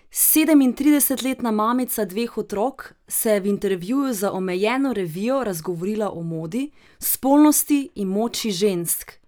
Sedemintridesetletna mamica dveh otrok se je v intervjuju za omenjeno revijo razgovorila o modi, spolnosti in moči žensk.